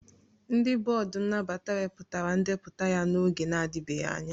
Ndị bọọdụ nnabata wepụtara ndepụta ya n'oge na-adịbeghị anya